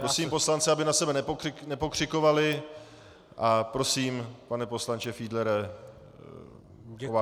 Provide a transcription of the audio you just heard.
Prosím poslance, aby na sebe nepokřikovali a prosím, pane poslanče Fiedlere o váš projev.